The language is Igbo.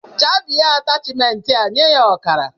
Chabie atashmentịa nye ya ọkara.